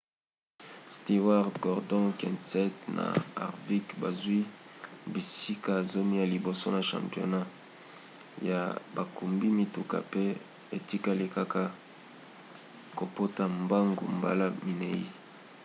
stewart gordon kenseth na harvick bazwi bisika zomi ya liboso na championnat ya bakumbi mituka pe etikali kaka kopota mbangu mbala minei